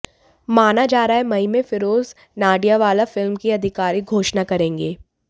माना जा रहा है मई में फिरोज नाडियाडवाला फिल्म की आधिकारिक घोषणा करेंगे